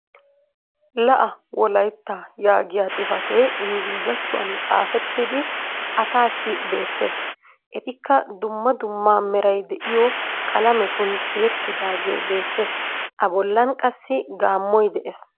La'a wolaytta yaagiya xifatee ingglizzatuwan xaafettidi asaassi beettees. Etikka dumma dumma meray diyo qalametun tiyettidaagee beettees. A bollan qassi gaamoy de'ees.